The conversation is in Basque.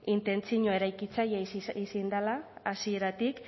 intentzinoa eraikitzailea izan dela hasieratik